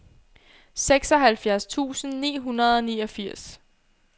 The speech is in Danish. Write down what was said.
seksoghalvfjerds tusind ni hundrede og niogfirs